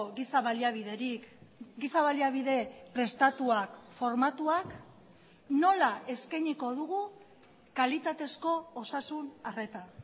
giza baliabiderik giza baliabide prestatuak formatuak nola eskainiko dugu kalitatezko osasun arreta